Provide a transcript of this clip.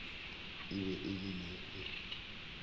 e be e le le